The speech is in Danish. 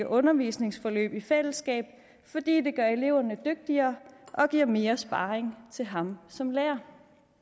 undervisningsforløb i fællesskab fordi det gør eleverne dygtigere og giver mere sparring til ham som lærer